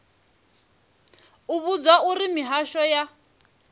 u vhudzwa uri mihasho ya